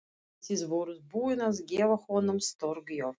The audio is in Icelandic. En þið voruð búin að gefa honum stórgjöf.